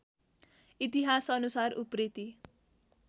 इतिहास अनुसार उप्रेती